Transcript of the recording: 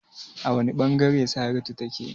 A wane bangare Saratu take?